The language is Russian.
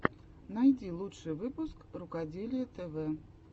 найди лучший выпуск рукоделия тв